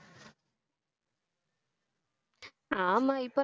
ஆமா இப்போ